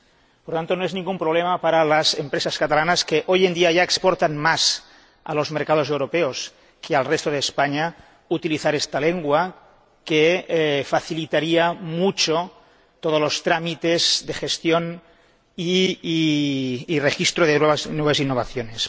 Por lo tanto, no es ningún problema para las empresas catalanas, que hoy en día ya exportan más a los mercados europeos que al resto de España, utilizar esta lengua que facilitaría mucho todos los trámites de gestión y registro de nuevas innovaciones.